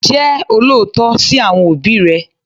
Jẹ́ olótìítọ́ sí àwọn òbí rẹ